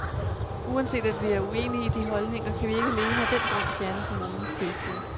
Uanset at vi er uenige i de holdninger, kan vi ikke alene af den grund fjerne kommunens tilskud.